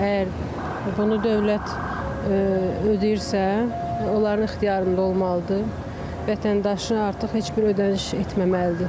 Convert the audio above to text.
Əgər bunu dövlət ödəyirsə, onların ixtiyarında olmalıdır, vətəndaşın artıq heç bir ödəniş etməməlidir.